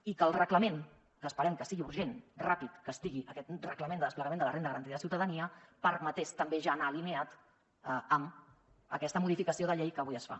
i que el reglament que esperem que sigui urgent ràpid que estigui aquest reglament de desplegament de la renda garantida de ciutadania permetés també ja anar alineat amb aquesta modificació de llei que avui es fa